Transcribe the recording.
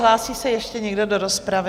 Hlásí se ještě někdo do rozpravy?